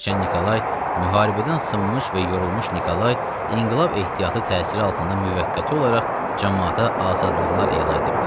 Hərçənd Nikolay müharibədən sınmış və yorulmuş Nikolay inqilab ehtiyatı təsiri altında müvəqqəti olaraq camaata azadlıqlar elan edibdir.